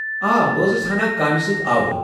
آ! بہٕ ٲسٕس ہنا کامہِ سۭتۍ آوٕر ۔